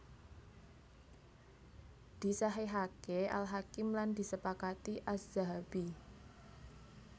Disahihaké Al Hakim lan disepakati Adz Dzahabi